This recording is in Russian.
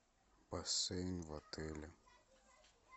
бассейн в отеле